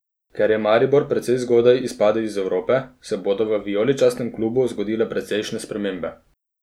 Ker je Maribor precej zgodaj izpadel iz Evrope, se bodo v vijoličastem klubu zgodile precejšnje spremembe.